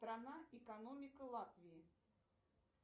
страна экономика латвии